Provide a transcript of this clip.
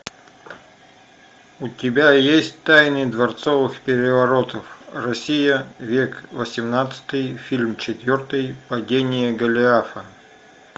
у тебя есть тайны дворцовых переворотов россия век восемнадцатый фильм четвертый падение голиафа